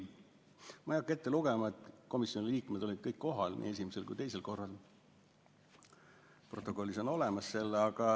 Ma ei hakka kõike ette lugema, näiteks seda, et komisjoni liikmed olid kõik kohal nii esimesel kui ka teisel korral, protokollis on see kõik olemas.